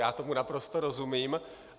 Já tomu naprosto rozumím.